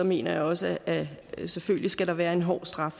mener jeg også at der selvfølgelig skal være en hård straf